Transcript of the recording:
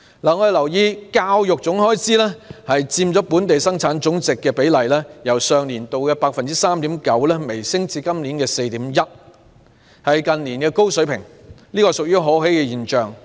我們留意到，教育總開支佔本地生產總值的比例，由上年度的 3.9% 微升至今年的 4.1%， 是近年的高水平，這是可喜的現象。